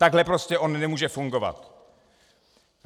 Takhle prostě on nemůže fungovat.